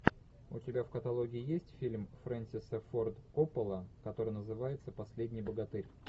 у тебя в каталоге есть фильм фрэнсиса форд коппола который называется последний богатырь